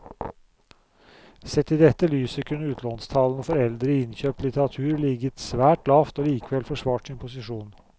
Sett i dette lyset kunne utlånstallene for eldre innkjøpt litteratur ligget svært lavt og likevel forsvart sin posisjon.